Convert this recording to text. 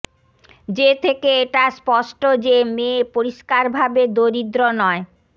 যে থেকে এটা স্পষ্ট যে মেয়ে পরিষ্কারভাবে দরিদ্র নয়